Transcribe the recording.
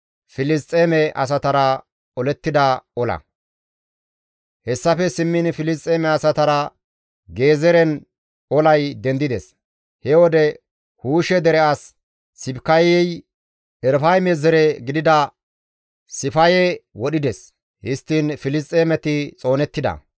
Hessafe simmiin Filisxeeme asatara Gezeeren olay dendides; he wode Huushe dere as Sibikayey Erafayme zere gidida Sifaye wodhides; histtiin Filisxeemeti xoonettida.